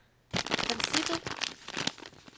princippet